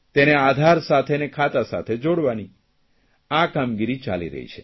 તેને આધાર સાથે અને ખાતા સાથે જોડવાની આ કામગીરી ચાલી રહી છે